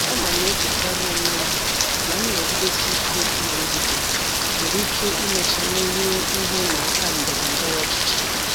Ana m echetara onwe m na nnọgidesi ike na ndidi nwere ike imecha merie ihe ịma aka ndọrọ ndọrọ ọchịchị.